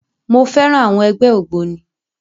Mo féràn àwọn ẹgbẹ́ ògbóni.